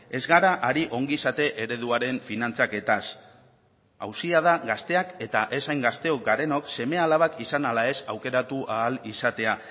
ez gara ari ongizate ereduaren finantzaketaz auzia da gazteak eta ez hain gazteok garenok seme alabak izan ala ez aukeratu ahal izatea